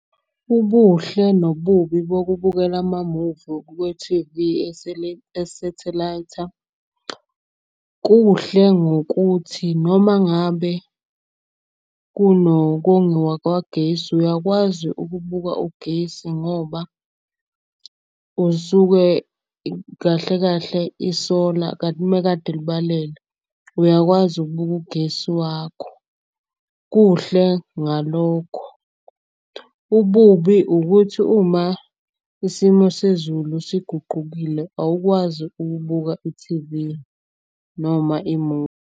Ubuhle nobubi bokubukela amamuvu kwe-T_V esethelaytha. Kuhle ngokuthi noma ngabe kunokongiwa kwagesi uyakwazi ukubuka ugesi. Ngoba usuke kahle kahle isola kanti umekade libalele. Uyakwazi ukubuka ugesi wakho, kuhle ngalokho. Ububi ukuthi uma isimo sezulu siguqukile awukwazi ukubuka i-T_V noma imuvi.